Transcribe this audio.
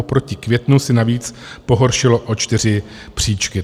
Oproti květnu si navíc pohoršilo o čtyři příčky.